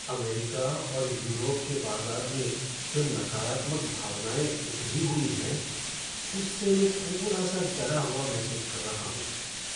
America और Europe के बाजार में जो नकारात्मक भावनाएँ उभरी हुई हैं उससे मैं थोड़ा सा डरा हुआ महसूस कर रहा हूँ।